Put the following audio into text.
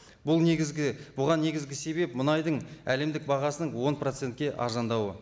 бұл негізгі бұған негізгі себеп мұнайдың әлемдік бағасының он процентке арзандауы